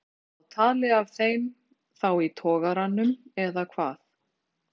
Ólöf: En þið hafið náð tali af þeim þá í togaranum eða hvað?